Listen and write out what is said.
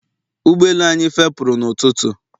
ụgbọ elu anyị fepuru n'ụtụtụ